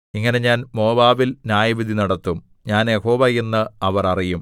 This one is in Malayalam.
ഇങ്ങനെ ഞാൻ മോവാബിൽ ന്യായവിധി നടത്തും ഞാൻ യഹോവ എന്നു അവർ അറിയും